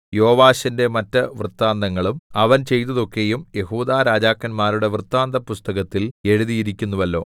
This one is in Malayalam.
യോവാശിന്റെ മറ്റ് വൃത്താന്തങ്ങളും അവൻ ചെയ്തതൊക്കെയും യെഹൂദാ രാജാക്കന്മാരുടെ വൃത്താന്തപുസ്തകത്തിൽ എഴുതിയിരിക്കുന്നുവല്ലോ